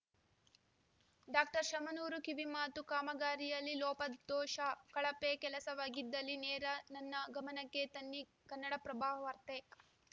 doctor Shamanur ಕಿವಿಮಾತು ಕಾಮಗಾರಿಯಲ್ಲಿ ಲೋಪದೋಷ ಕಳಪೆ ಕೆಲಸವಾಗಿದ್ದಲ್ಲಿ ನೇರ ನನ್ನ ಗಮನಕ್ಕೆ ತನ್ನಿ ಕನ್ನಡಪ್ರಭವಾರ್ತೆ